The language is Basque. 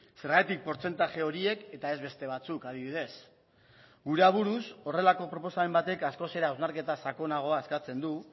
zergatik portzentaje horiek eta ez beste batzuk adibidez gure aburuz horrelako proposamen batek askoz ere hausnarketa sakonagoa eskatzen du